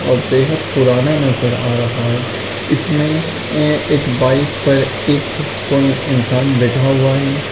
और पुराना नजर आ रहा हैं इसमे एक बाइक्स हैं एक इंसान बैठा हुआ है।